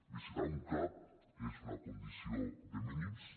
visitar un cap és una condició de mínims